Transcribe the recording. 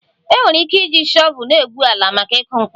Enwere ike iji shọvel na-egwu ala maka ịkụ mkpụrụ